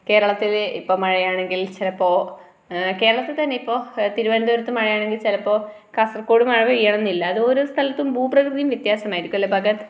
കേരളത്തിലെ ഇപ്പൊ മഴയാണെങ്കിൽ ചിലപ്പോ കേരളത്തിൽ തന്നെ ഇപ്പൊ തിരുവനന്തപുരത്ത്‌ മഴയാണെങ്കിൽ ചിലപ്പോ കാസർഗോഡ് മഴപെയ്യണമെന്നില്ല ഓരോ സ്ഥലത്തും ഭൂ പ്രകൃതിയും വത്യാസമായിരിക്കും അല്ലെ ഭഗത്